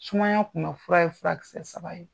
Sumaya kunbɛ fura ye furakisɛ saba ye.